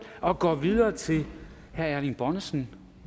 og går videre til herre erling bonnesen